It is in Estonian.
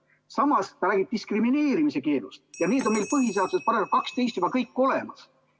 Samas, ta räägib ...... diskrimineerimise keelust ja see on meil põhiseaduse §-s 12 juba kõik olemas.